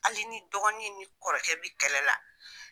Hali ni dɔgɔnin ni kɔrɔkɛ bɛ kɛlɛla.